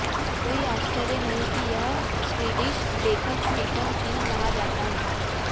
कोई आश्चर्य नहीं कि यह स्वीडिश लेखक स्टीफन किंग कहा जाता है